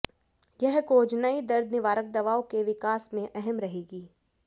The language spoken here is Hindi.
यह खोज नई दर्द निवारक दवाओं के विकास में अहम रहेगी